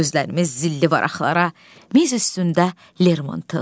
Gözlərimiz zilli varaqlara, miz üstündə Lermontov.